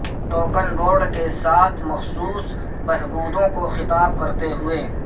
token board کے ساتھ مخصوص بہبودوں کو خطاب کرتے ہوئے